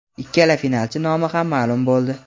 Ikkala finalchi nomi ham ma’lum bo‘ldi.